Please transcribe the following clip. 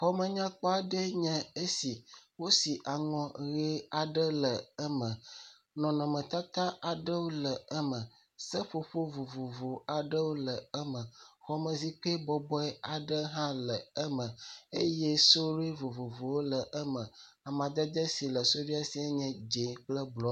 Xɔme nyakpɔ aɖe ye nye esi. Wosi aŋɔ ʋi aɖe le eme. Nɔnɔme tata aɖewo le eme. Seƒoƒo vovovowo aɖe le eme. Xɔme zikpui bɔbɔe aɖe hã le eme eye sudue vovovowo le eme. Amedede si le sudue si enye dz0 kple bluo.